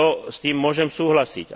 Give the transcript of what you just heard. S tým môžem súhlasiť.